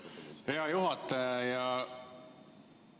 Hea juhataja!